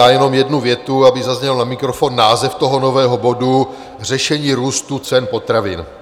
Já jenom jednu větu, aby zazněl na mikrofon název toho nového bodu - Řešení růstu cen potravin.